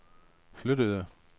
flyttede